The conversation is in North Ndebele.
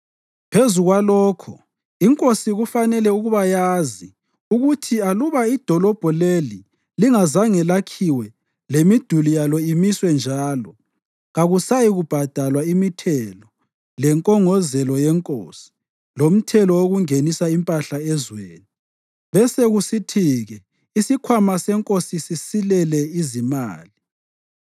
Phezu kwalokho inkosi kufanele ukuba yazi ukuthi aluba idolobho leli lingaze lakhiwe lemiduli yalo imiswe njalo, kakusayikubhadalwa imithelo lenkongozelo yenkosi, lomthetho wokungenisa impahla ezweni, besekusithi-ke isikhwama senkosi sisilele izimali.